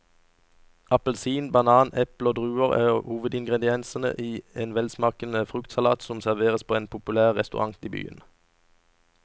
Appelsin, banan, eple og druer er hovedingredienser i en velsmakende fruktsalat som serveres på en populær restaurant i byen.